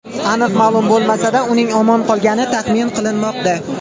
Aniq ma’lum bo‘lmasa-da, uning omon qolgani taxmin qilinmoqda.